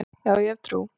Já, ég hef trú.